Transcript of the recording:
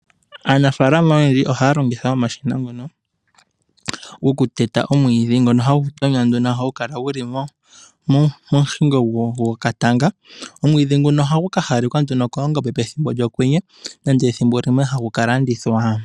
Aanafaalama oyendji ohaya longitha omashina ngono gokuteta omwiidhi ngono hagu tonywa ngono hagu kala guli momufango gwokatanga . Omwiidhi nguno ohagu ka hawalekwa nduno koongombe pethimbo lyokwenye nenge ethimbo limwe ohagu kalandithwa.